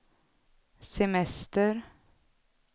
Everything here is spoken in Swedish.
semester